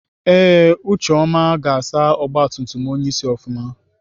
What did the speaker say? Ee ucheọma ga-asa ọgbatumtum onyeisi ofụma.